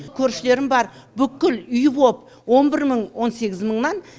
көршілерім бар бүкіл үй боп он бір мың он сегіз мыңнан